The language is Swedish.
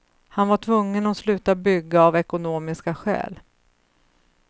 Han var tvungen att sluta bygga av ekonomiska skäl.